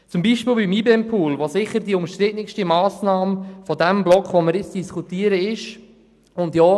Das ist zum Beispiel beim IBEM-Pool der Fall, der innerhalb des Blocks, den wir jetzt diskutieren, sicherlich die umstrittenste Massnahme ist.